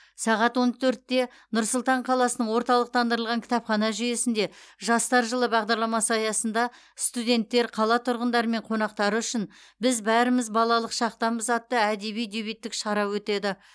сағат он төртте нұр сұлтан қаласының орталықтандырылған кітапхана жүйесінде жастар жылы бағдарламасы аясында студенттер қала тұрғындары мен қонақтары үшін біз бәріміз балалық шақтанмыз атты әдеби дебюттік шара өтеді